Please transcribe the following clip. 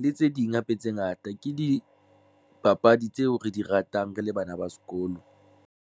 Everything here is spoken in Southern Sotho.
le tse ding Hape. Tse ngata ke dipapadi tseo re di ratang re le bana ba sekolo.